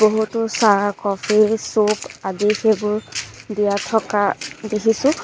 বহুতো চাহ coffee soup আদি সেইবোৰ দিয়া থকা দেখিছোঁ।